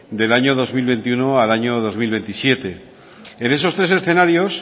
del año dos mil veintiuno al año dos mil veintisiete en esos tres escenarios